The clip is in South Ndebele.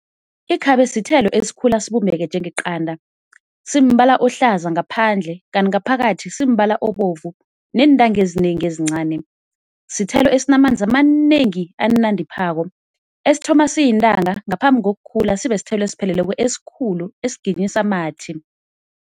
Ikhabe sithelo esikhula sibumbeke njengeqanda, simbala ohlaza ngaphandle kanti ngaphakathi simbala obovu neentanga ezinengi ezincani. Sithelo esinamanzi amanengi anandiphako, esithoma siyintanga ngaphambi ngokukhula sibe sithelo esipheleleko esikhulu esiginyisa amathi.